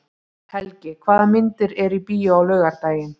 Helgi, hvaða myndir eru í bíó á laugardaginn?